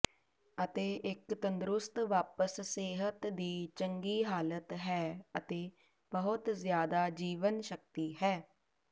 ਅਤੇ ਇੱਕ ਤੰਦਰੁਸਤ ਵਾਪਸ ਸਿਹਤ ਦੀ ਚੰਗੀ ਹਾਲਤ ਹੈ ਅਤੇ ਬਹੁਤ ਜਿਆਦਾ ਜੀਵਨਸ਼ਕਤੀ ਹੈ